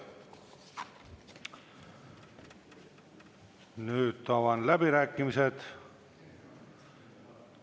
Nüüd avan läbirääkimised.